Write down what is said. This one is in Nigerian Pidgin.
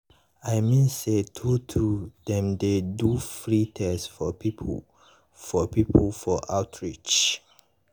i mean say true true dem dey do free test for people for people for outreach.